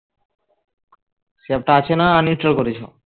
ওই app টা আছে না uninstall করেছো